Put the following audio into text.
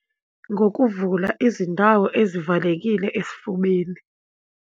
Ngokuvula izindawo ezivalekile esifubeni.